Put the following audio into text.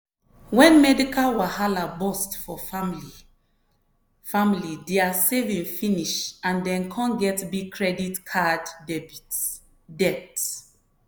when medical wahala burst for family family their saving finish and dem come get big credit card debt.